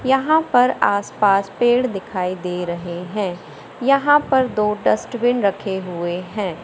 यहां पर आसपास पेड़ दिखाई दे रहे है यहां पर दो डस्टबिन रखे हुए है।